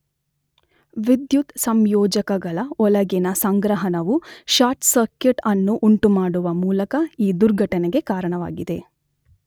ವಿದ್ಯುತ್ ಸಂಯೋಜಕಗಳೊಳಗಿನ ಸಂಗ್ರಹಣವು ಶಾರ್ಟ್ ಸರ್ಕಿಟ್ ಅನ್ನು ಉಂಟುಮಾಡುವ ಮೂಲಕ ಈ ದುರ್ಘಟನೆಗೆ ಕಾರಣವಾಗಿದೆ.